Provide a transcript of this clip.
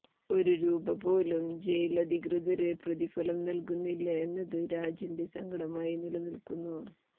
ഒരു രൂപ പോലും ജയിലധികൃതര് പ്രതിഫലം നല്കുന്നില്ല എന്നത് രാജന്െറ സങ്കടമായി നിലനില്ക്കുന്നു